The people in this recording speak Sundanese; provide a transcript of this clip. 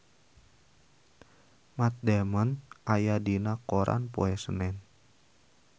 Matt Damon aya dina koran poe Senen